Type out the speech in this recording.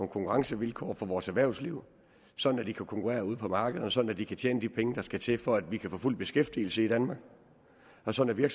konkurrencevilkår for vores erhvervsliv sådan at de kan konkurrere ude på markederne og sådan at de kan tjene de penge der skal til for at vi kan få fuld beskæftigelse i danmark og sådan at